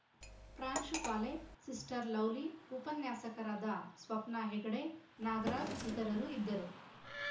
ಪ್ರಾಂಶುಪಾಲೆ sister Lovely ಉಪನ್ಯಾಸಕರಾದ ಸ್ವಪ್ನ ಹೆಗಡೆ ನಾಗರಾಜ್‌ ಇತರರು ಇದ್ದರು